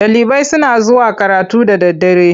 Ɗalibai suna zuwa karatu da daddare.